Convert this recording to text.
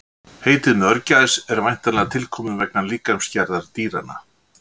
Heitið mörgæs er væntanlega tilkomið vegna líkamsgerðar dýranna.